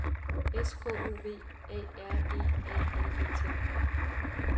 S K O V A R E A L E T